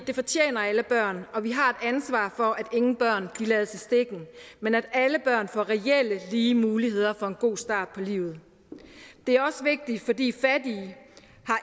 det fortjener alle børn og vi har et ansvar for at ingen børn lades i stikken men at alle børn får reelt lige muligheder for en god start på livet det er også vigtigt fordi fattige